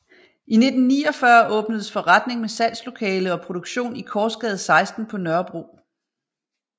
I 1949 åbnedes forretning med salgslokale og produktion i Korsgade 16 på Nørrebro